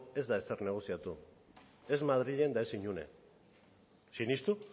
ez da ezer negoziatu ez madrilen eta ez inon sinistu